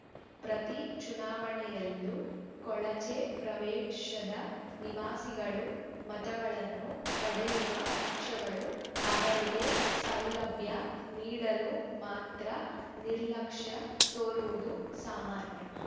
ಪ್ರತಿ ಚುನಾವಣೆಯಲ್ಲೂ ಕೊಳಚೆ ಪ್ರದೇಶದ ನಿವಾಸಿಗಳ ಮತಗಳನ್ನು ಪಡೆಯುವ ಪಕ್ಷಗಳು ಅವರಿಗೆ ಸೌಲಭ್ಯ ನೀಡಲು ಮಾತ್ರ ನಿರ್ಲಕ್ಷ್ಯ ತೋರುವುದು ಸಾಮಾನ್ಯ